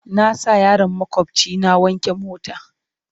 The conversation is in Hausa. Na sa yaron maƙwabci na wanke mota.